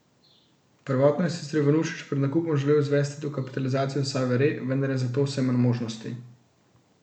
Prvotno je sicer Ivanušič pred nakupom želel izvesti dokapitalizacijo Save Re, vendar je za to vse manj možnosti.